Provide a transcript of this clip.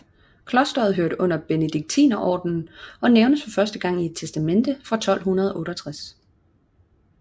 Klosteret hørte under Benediktinerordenen og nævnes første gang i et testamente fra 1268